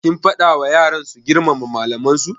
Kin faɗa wa yaran su girmama malaman su?